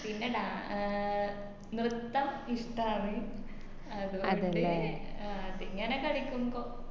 പിന്നെ ഡാ ആഹ് നിർത്തം ഇഷ്ട്ടാണ് അത്കൊണ്ട് അതിങ്ങനെ കളിക്കും